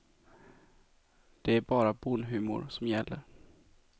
Det är bara bonnhumor som gäller.